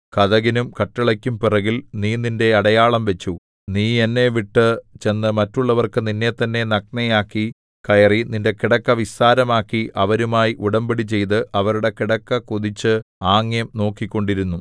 കതകിനും കട്ടിളയ്ക്കും പുറകിൽ നീ നിന്റെ അടയാളം വച്ചു നീ എന്നെവിട്ടു ചെന്നു മറ്റുള്ളവർക്ക് നിന്നെത്തന്നെ നഗ്നയാക്കി കയറി നിന്റെ കിടക്ക വിസ്താരമാക്കി അവരുമായി ഉടമ്പടിചെയ്തു അവരുടെ കിടക്ക കൊതിച്ചു ആംഗ്യം നോക്കിക്കൊണ്ടിരുന്നു